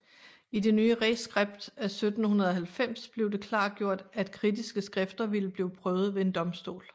I det nye reskript af 1790 blev det klargjort at kritiske skrifter ville blive prøvet ved en domstol